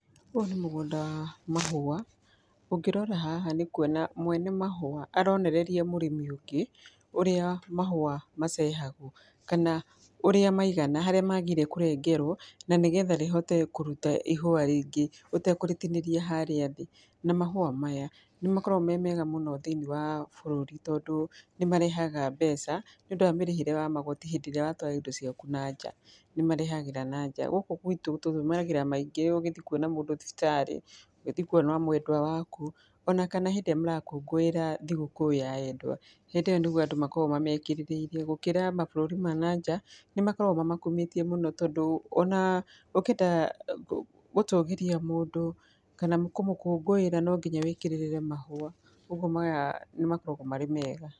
Ũyũ nĩ mũgũnda mahũwa, ũngĩrora haha nĩ kuona mwene mahũwa, aronereria mũrĩmi ũngĩ, ũrĩa mahũwa macehagwo, kana ũrĩa maigana harĩa magĩrĩire kũrengerwo, na nĩ getha rĩhote kũruta ihũwa rĩngĩ ũtekũrĩtinĩria harĩa thĩ, na mahũwa maya nĩ makoragwo me mega mũno thĩinĩ wa bũrũri, tondũ nĩ marehaga mbeca nĩ ũndũ wa mĩrĩhĩre ya magoti hĩndĩ ĩrĩa watwara indo ciaku nanja, nĩmarehagĩra nanja, gũkũ gwitũ tũtũmagĩra maingĩ ũgithiĩ kuona mũndũ thibitarĩ, ũgĩthiĩ kuona mwendwa waku, ona kana hĩndĩ ĩrĩa mũrakũngũĩra thigũkũ ya endwa, hĩndĩ ĩyo nĩguo andũ makoragwo mamekĩrithĩirie, gũkĩra mabũrũri ma nanja nĩ makoragwo mamakumĩtie mũno, tondũ ona ũngĩenda gũtũgĩria mũndũ kana kũmũkũngũĩra no nginya wĩkĩrĩrĩre mahũwa, kwoguo maya nĩ makoragwo marĩ mega.